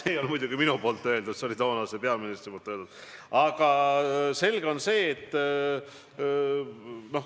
See ei ole muidugi minu öeldud, see on toonase peaministri öeldud lause.